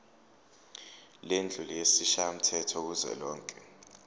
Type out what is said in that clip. lendlu yesishayamthetho kuzwelonke